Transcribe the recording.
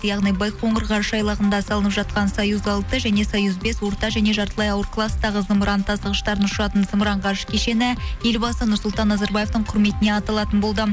яғни байқоңырға салынып жатқан союз алты және союз бес орта және жартылай ауыр кластағы зымыран тасығыштарын ұшыратын зымыран ғарыш кешені елбасы нұрсұлтан назарбаевтың құрметіне аталатын болды